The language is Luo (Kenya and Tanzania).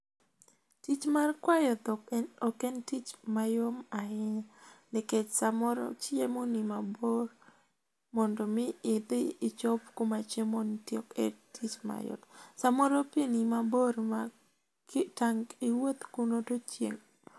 Tich mar kwayo dhok ok en tich mayom ahinya, nikech samoro chiemo ni mabor. Mondo mi idhi ichop kuma chiemo nitie ok en tich mayot. Samoro pii ni mabor ma tangu iwuoth kuno to chieng'..